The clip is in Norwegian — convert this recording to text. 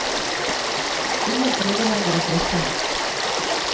Ingen prøver lenger å trøste ham.